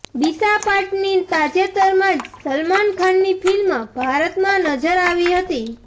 દિશા પાટની તાજેતરમાં જ સલમાન ખાનની ફિલ્મ ભારતમાં નજર આવી હતી